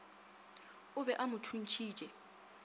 o be a mo thuntšhitše